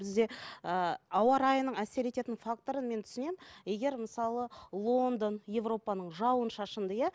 бізде ыыы ауа райының әсер ететін факторын мен түсінемін егер мысалы лондон европаның жауын шашынды иә